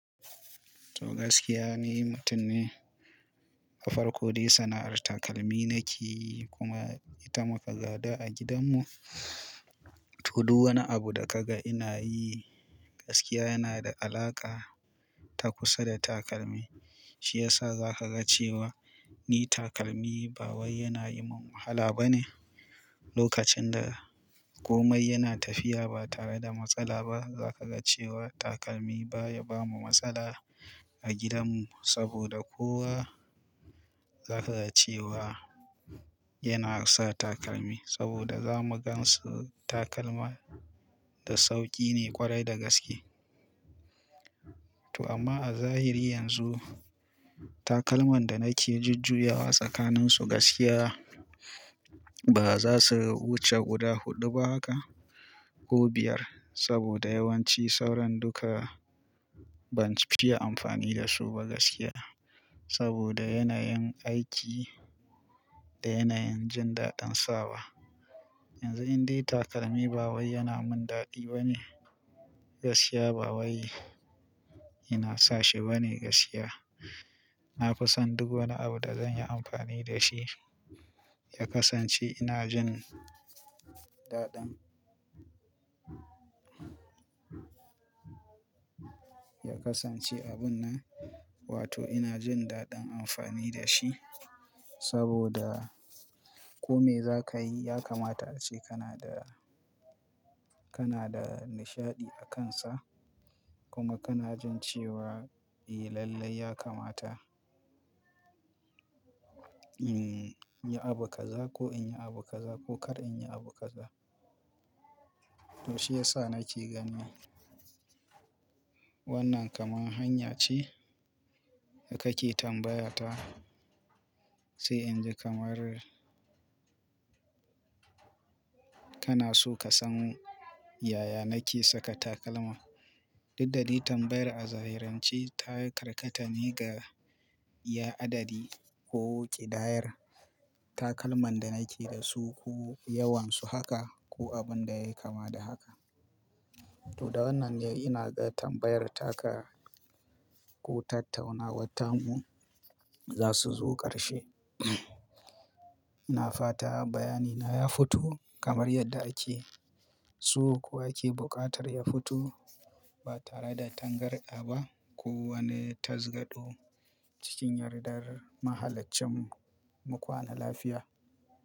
To gaskiya ni mutun ne. A farko dai sana'ar takalmi nake yi kuma ita muka gada a gidanmu. To duwwani abu da kaga ina yi gaskiya yana da alaƙa ta kusa da takalmi. Shi yasa za ka ga cewa ni takalmi ba wai yana yi min wahala ba ne. Lokacin da komai yana tafiya ba tare da matsala ba, za ka ga cewa takalmi baya bamu matsala a gidanmu saboda kowa za ka ga cewa yana sa takalmi saboda zamu gan su takalma da sauƙi ne kwarai da gaske. To amma a zahiri yanzu takalman da nake jujjuya wa tsakaninsu gaskiya ba za su wuce guda huɗu ba haka ko biyar saboda yawanci sauran duka ban fiya amfani da su ba gaskiya. Saboda yanayin aiki da yanayin jin daɗin sawa. Yanzu inde takalmi ba wai yana mun daɗi ba ne. Gaskiya ba wai yana sa shi ba ne gaskiya. Na fusan duk wani abu da zan yi amfani da shi ya kasance ina jin daɗan ya kasance abun nan, wato ina jin daɗin amfani da shi saboda kome za ka yi ya kamata ace kana da, kana da nishaɗi a kansa kuma kana jin cewa eh lallai ya kamata in yi abu kaza ko in yi abu kaza ko kar in yi abu kaza. To shi yasa nake ganin wannan kaman hanya ce da kake tambaya ta sai in ji kamar kana so ka san yaya nake saka takalma. Didda dai tambayar a zahirance ta karkata ne ga ya adadi ko ƙidayar takalman da nake da su ko yawansu haka ko abin da ya yi kama da haka. To da wannan dai ina ga tambayar taka ko tattaunawar tamu za su zo ƙarshe. Na fata bayani na ya fito kamar yadda ake so kuwa yake buƙatar ya fito ba tare da tangarɗa ba ko wani tazgado cikin yardar mahalaccin mu kwana lafiya.